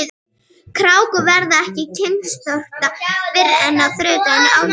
Krákur verða ekki kynþroska fyrr en á þriðja aldursári.